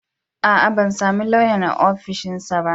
A a, ban sami lauyan a ofishinsa ba.